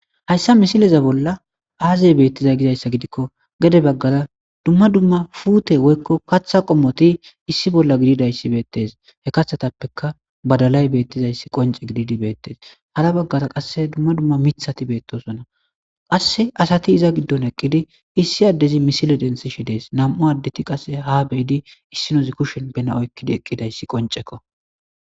hayssa misileza bolla aazey beettizay gizayssa gidikko gede baggara dumma dumma fuute woykko katha qommoti issi bolla gididayssibeettes he kathetappeka badalay beettizayssi qonce gididi beettes hara baggara qasse dumma dumma mithati beettosona qasse asati iza giddon eqqidi issi addezi misile densishi dees nam7u addeti qasse ha beyidi issinozi kushen bena oykkidi eqqidayssi qoncekko